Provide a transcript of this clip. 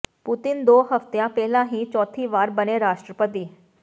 Putin ਦੋ ਹਫਤੇ ਪਹਿਲਾਂ ਹੀ ਚੌਥੀ ਵਾਰ ਬਣੇ ਰਾਸ਼ਟਰਪਤੀ